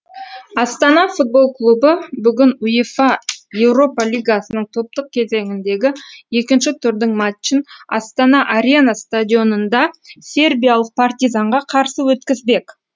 астана футбол клубы бүгін уефа еуропа лигасының топтық кезеңіндегі екінші турдың матчын астана арена стадионында сербиялық партизанға қарсы өткізбек